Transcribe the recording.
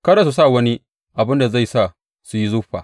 Kada su sa wani abin da zai sa su yi zuffa.